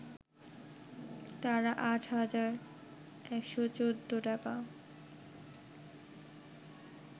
তাঁরা ৮ হাজার ১১৪ টাকা